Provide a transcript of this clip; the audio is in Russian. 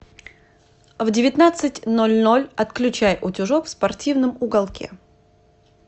в девятнадцать ноль ноль отключай утюжок в спортивном уголке